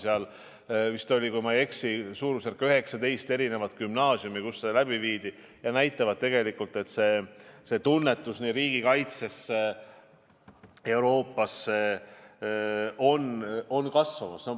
Neid oli vist, kui ma ei eksi, 19 gümnaasiumi, kus see läbi viidi, ja vastused näitavad tegelikult, et positiivne suhtumine nii riigikaitsesse kui ka Euroopasse on tugevnemas.